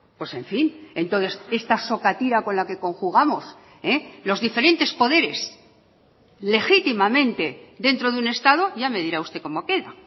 pues en fin entonces esta sokatira con la que conjugamos los diferentes poderes legítimamente dentro de un estado ya me dirá usted cómo queda